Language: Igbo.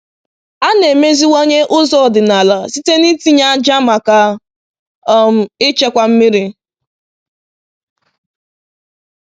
“A na-emeziwanye ụzọ ọdịnala site n’itinye ájá maka um ichekwa mmiri.”